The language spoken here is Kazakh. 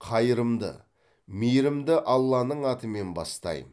қайырымды мейірімді алланың атымен бастайм